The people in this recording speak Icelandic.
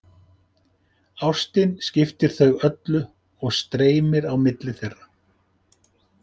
Ástin skiptir þau öllu og streymir á milli þeirra.